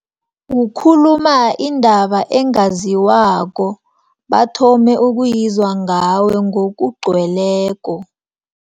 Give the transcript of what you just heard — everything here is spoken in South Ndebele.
Kukhuluma indaba ezingaziwako, bathome ukuyizwa ngawe, ngokugcweleko.